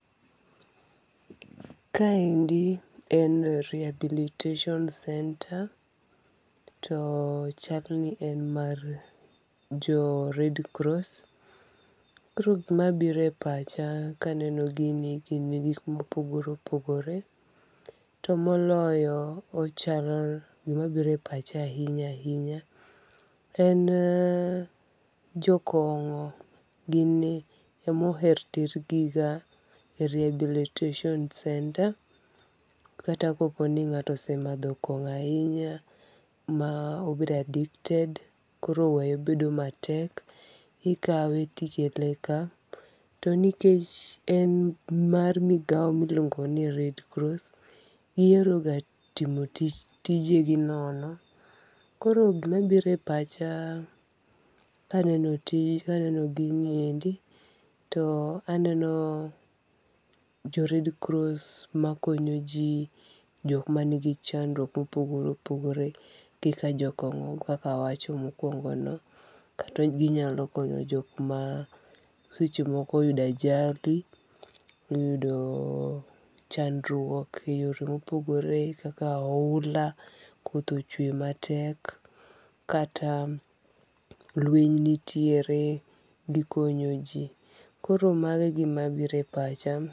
Kaendi en Rehabilitation Center to chalni en mar jo Red Cross. Koro gima biro e pacha kaneno gini gin gik mopogore opogore. To moloyo ochalo gima biro e pacha ahinya ahinya en jokong'o gin e moher ter gi ga e rehabilitation Center kata kopo ni ng'ato osemadho kong'o ahinya ma obedo addicted koro weyo bedo matek. Ikawe ti ikele ka. To nikech en mar migawo miluongo ni Red Cross gihero ga timo tijegi nono. Koro gima bire pacha ka aneno gini endi to aneno jo Red Cross ma konyo ji jok manigi chandruok mopogore opogore kaka jokong'o kaka awacho mokuongo no. Kata ginyalo konyo jok ma seche moko oyudo ajali. Oyudo chandruok e yore mopogore kaka oula, koth ochwe matek kata lweny nitiere gikonyo ji. Koro mago e gima bire pacha.